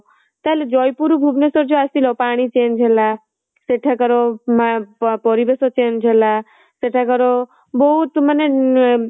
ତାହା ହେଲେ ଜୟପୁର ଭୁବନେଶ୍ୱର ଯୋଉ ଆସିଲ ପାଣି change ହେଲା ସେଠାକାର ମା ପରିବେଶ change ହେଲା ସେଠାକାର ବହୁତ ମାନେ